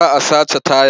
Za a sace tayar.